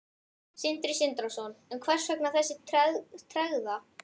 Sindri Sindrason: En hvers vegna þessi tregða?